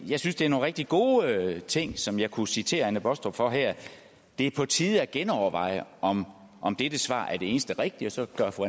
jeg synes det er nogle rigtig gode ting som jeg kunne citere fru anne baastrup for her det er på tide at genoverveje om om dette svar er det eneste rigtige og så gør fru